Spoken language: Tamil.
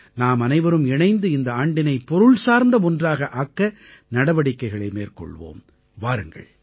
நாம் அனைவரும் இணைந்து இந்த ஆண்டினை பொருள்சார்ந்த ஒன்றாக ஆக்க நடவடிக்கைகளை மேற்கொள்வோம் வாருங்கள்